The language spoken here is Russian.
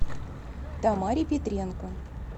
тамаре петренко